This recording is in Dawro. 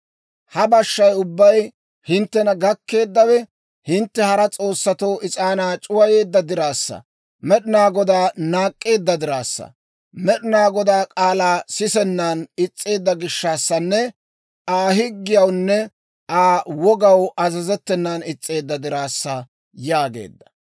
Ha bashshay ubbay hinttena gakkeeddawe hintte hara s'oossatoo is'aanaa c'uwayeedda diraassa, Med'inaa Godaa naak'k'eedda diraassa, Med'inaa Godaa k'aalaa sisennan is's'eedda gishshaassanne Aa higgiyawunne Aa wogaw azazettenan is's'eedda diraassa» yaageedda.